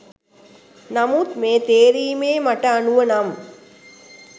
නමුත් මේ තේරීමේ මට අනුව නම්